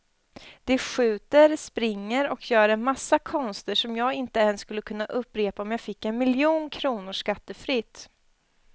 De skjuter, springer och gör en massa konster som jag inte ens skulle kunna upprepa om jag fick en miljon kronor skattefritt.